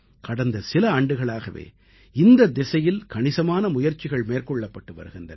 கடந்த சில ஆண்டுகளாகவே இந்தத் திசையில் கணிசமான முயற்சிகள் மேற்கொள்ளப்பட்டு வருகின்றன